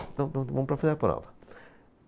Então, pronto, vamos para fazer a prova.